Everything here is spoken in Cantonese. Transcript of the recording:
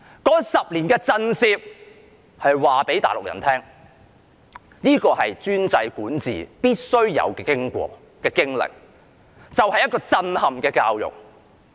那10年的震懾是要告訴大陸人：這是專制管治必須有的經歷，就是一個震撼教育。